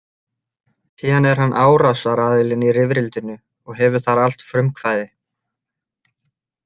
Síðan er hann árásaraðilinn í rifrildinu og hefur þar allt frumkvæði.